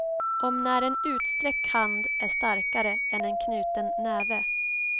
Om när en utsträckt hand är starkare än en knuten näve.